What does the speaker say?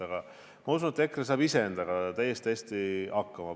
Aga ma usun, et EKRE saab ise endaga täiesti hästi hakkama.